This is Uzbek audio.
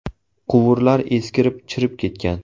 Quvurlar eskirib chirib ketgan.